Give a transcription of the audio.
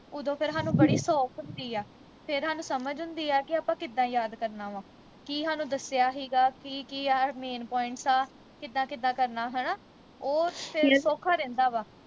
ਉਦੋਂ ਫਿਰ ਹਾਨੂੰ ਬੜੀ ਸੌਖ ਹੁੰਦੀ ਆ ਫਿਰ ਹਾਨੂੰ ਸਮਝ ਹੁੰਦੀ ਆ ਕਿ ਆਪਾ ਕਿੱਦਾਂ ਯਾਦ ਕਰਨਾ ਵਾ ਕੀ ਹਾਨੂੰ ਦੱਸਿਆ ਹੀਗਾ ਕੀ ਕੀ main points ਆ ਕਿੱਦਾਂ ਕਿੱਦਾਂ ਕਰਨਾ ਹਣਾ ਉਹ ਫਿਰ ਸੌਖਾ ਰਹਿੰਦਾ